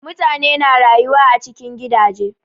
Mutane na rayuwa a cikin gidaje.